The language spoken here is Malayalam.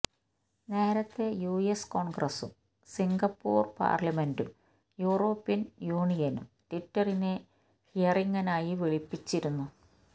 നേരത്തെ യുഎസ് കോണ്ഗ്രസും സിംഗപ്പൂര് പാര്ലമെന്റും യൂറോപ്യന് യൂണിയനും ട്വിറ്ററിനെ ഹിയറിംഗിനായി വിളിപ്പിച്ചിരുന്നു